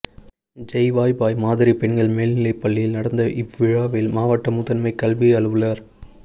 ஜெய்வாபாய் மாதிரி பெண்கள் மேல்நிலைப்பள்ளியில் நடந்த இவ்விழாவில் மாவட்ட முதன்மை கல்வி அலுவலர்